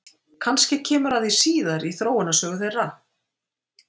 Kannski kemur að því síðar í þróunarsögu þeirra?